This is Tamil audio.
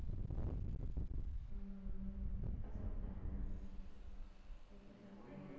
ஆஹ் எப்ப சாப்பிட்ட